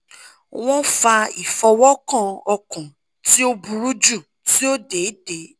wọn fa ifọwọkan ọkan ti o buru ju ti o deede